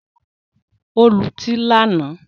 Ó lutí lánàá